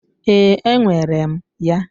Ee, enwere m ya.